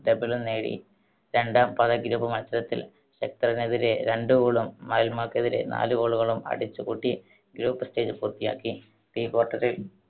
double ഉം നേടി. രണ്ടാം പാദ group മത്സരത്തിൽ ഹെക്റ്ററിനെതിരെ രണ്ട്‌ goal ഉം മാൽമോക്കെതിരെ നാല് goal കളും അടിച്ചു കൂട്ടി group stage പൂർത്തിയാക്കി. pre quarter ൽ